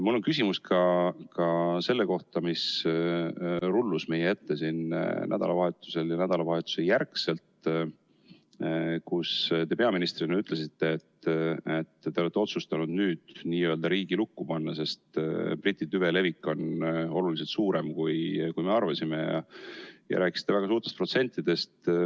Mul on küsimus ka selle kohta, mis rullus meie ette nädalavahetusel ja nädalavahetuse järel, kui te peaministrina ütlesite, et te olete otsustanud nüüd n-ö riigi lukku panna, sest Briti tüve levik on oluliselt suurem, kui me arvasime, ja rääkisite väga suurtest protsentidest.